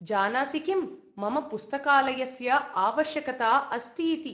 जानासि किं, मम पुस्तकालयस्य आवश्यकता अस्ति इति।